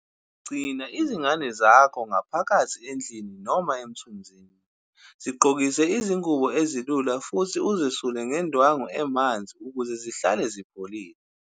Gcina izingane zakho ngaphakathi endlini noma emthunzini, zigqokise izingubo ezilula futhi uzesule ngendwangu emanzi ukuze zihlale zipholile.